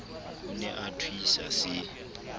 o ne a thuisa se